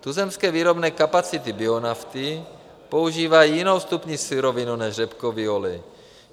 Tuzemské výrobní kapacity bionafty používají jinou vstupní surovinu než řepkový olej.